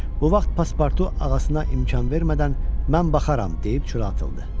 Bu vaxt pasportu ağasına imkan vermədən mən baxaram deyib çölə atıldı.